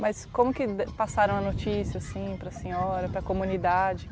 Mas como que ele, passaram a notícia, assim, para a senhora, para a comunidade?